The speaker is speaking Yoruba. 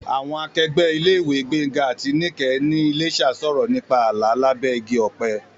Àwọn akẹgbẹ́ ilé-ìwé Gbénga àti Níkẹ̀ ní Iléṣà sọ̀rọ̀ nípa àlá lábẹ́ igi ọ̀pẹ.